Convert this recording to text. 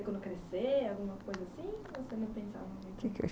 quando crescer, alguma coisa assim? ou você não pensava muito?